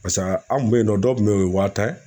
Paseke an kun be yen nɔ dɔw kun be yen o ye waa tan ye